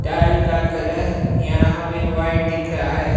Tile का colour यहां हमें व्हाइट दिख रहा है।